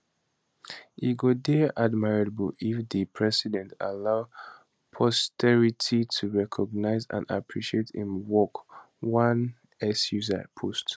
e go dey admirable if di president allow posterity to recognise and appreciate im work one x user post